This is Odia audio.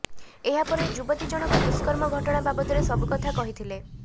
ଏହାପରେ ଯୁବତୀ ଜଣଙ୍କ ଦୁଷ୍କର୍ମ ଘଟଣା ବାବଦରେ ସବୁକଥା କହିଥିଲେ